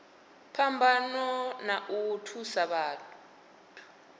phambano na u thusa vhathu